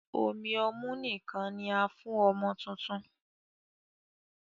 Omí ọmu nìkan ní a fún ọmọ tuntun.